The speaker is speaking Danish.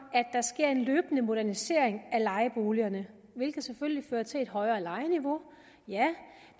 at modernisering af lejeboligerne hvilket selvfølgelig fører til et højere lejeniveau ja